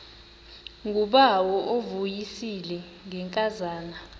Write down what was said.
ngubawo uvuyisile ngenkazana